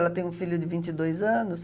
Ela tem um filho de vinte e dois anos.